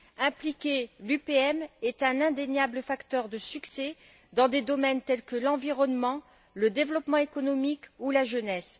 Impliquer l'UPM est un indéniable facteur de succès dans des domaines tels que l'environnement, le développement économique ou la jeunesse.